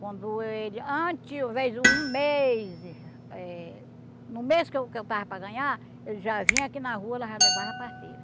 Quando ele... Antes, o um mês eh... No mês que eu que eu estava para ganhar, ele já vinha aqui na rua lá já levava a parteira.